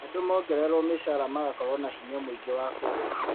Andũ mongererwo mĩcara magakorwo na hinya mũingĩ wa kũgũra